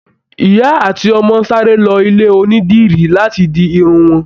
Ìyá àti ọmọ sáré lọ ilé onídìrí láti di Irun wọn